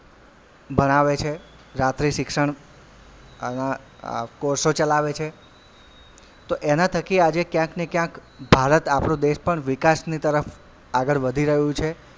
ભણાવે છે રાત્રી શિક્ષણ અ અ course ઓ ચલાવે છે તો એનાં થકી આજે કયાંક ને કયાંક ભારત આપડો દેશ પણ વિકાસની તરફ આગળ વધી રહ્યું છે.